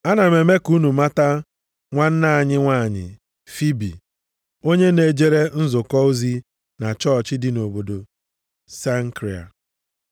Ana m eme ka unu mata nwanna anyị nwanyị, Fibi, onye na-ejere nzukọ ozi na chọọchị dị nʼobodo Senkria.